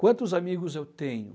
Quantos amigos eu tenho?